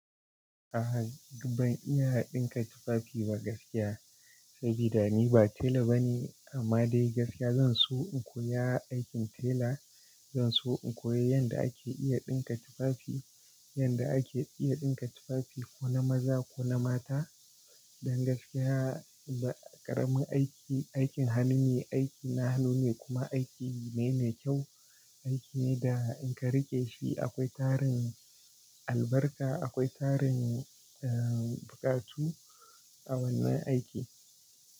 Aha, ban iya ɗinka tufafi ba gaskiya, saboda ni ba tela bane. Amma dai gaskiya zan so in koya aikin tela. Zan so in koyi yadda ake iya ɗinka tufafi, yadda ake iya ɗinka tufafi ko na maza ko na mata. Dan gaskiya ba ƙaramin aiki, aikin hannu ne, aiki na hannu ne kuma aiki ne mai kyau. Aiki ne da in ka riƙe shi akwai tarin albarka, akwai tarin, eh, buƙatu a wannan aiki.